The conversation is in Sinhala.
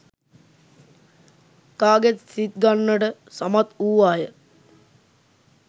කාගෙත් සිත් ගන්නට සමත් වූවාය.